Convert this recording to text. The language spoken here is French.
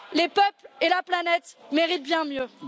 Les peuples et la planète méritent bien mieux.